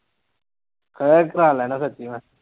ਹੈਂ ਕਰਵਾ ਲੈਨਾ ਸੱਚੀ ਮੈਂ